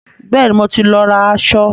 Bẹ́ẹ̀ni, mo ti lọ ra aṣọ.